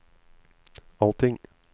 allting